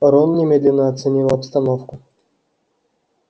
рон немедленно оценил обстановку